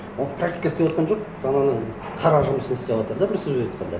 ол практика істеватқан жоқ ананың қара жұмысын істеватыр да бір сөзбен айтқанда